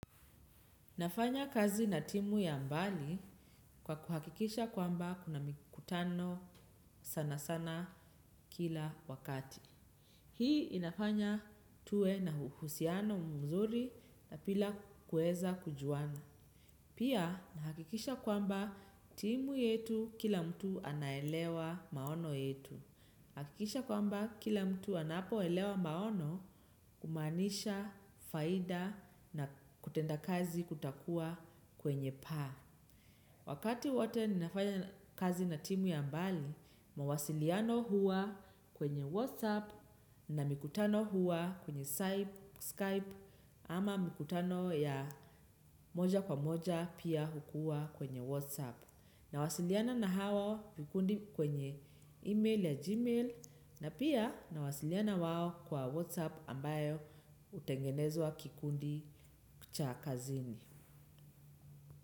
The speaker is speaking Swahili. Nafanya kazi na timu ya mbali kwa kuhakikisha kwamba kuna mikutano sana sana kila wakati. Hii inafanya tuwe na uhusiano mzuri na pia kuweza kujuana. Pia nahakikisha kwamba timu yetu kila mtu anaelewa maono yetu. Nahakikisha kwamba kila mtu anapoelewa maono kumaanisha faida na kutenda kazi kutakuwa kwenye paa. Wakati wote ninafanya kazi na timu ya mbali, mawasiliano huwa kwenye WhatsApp na mikutano huwa kwenye Skype ama mikutano ya moja kwa moja pia hukua kwenye WhatsApp. Nawasiliana na hawa kikundi kwenye email ya gmail na pia nawasiliana wao kwa WhatsApp ambayo hutengenezwa kikundi cha kazini.